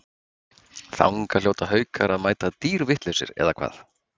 Þangað hljóta Haukar að mæta dýrvitlausir eða hvað?